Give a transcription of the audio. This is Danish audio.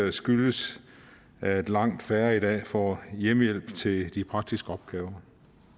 at skyldes at langt færre i dag får hjemmehjælp til de praktiske opgaver